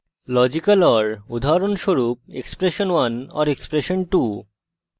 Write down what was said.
logical or উদাহরণস্বরূপ expression1 or expression2